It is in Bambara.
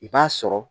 I b'a sɔrɔ